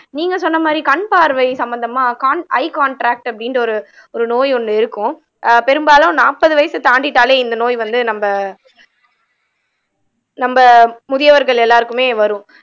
நீங்க சொன்ன மாதிரி கண் பார்வை சம்பந்தமா கான் ஐ காண்ட்ராக்ட் அப்படின்ற ஒரு ஒரு நோய் ஒண்ணு இருக்கும் ஆஹ் பெரும்பாலும் நாப்பது வயசை தாண்டிட்டாலே இந்த நோய் வந்து நம்ம நம்ம முதியவர்கள் எல்லாருக்குமே வரும்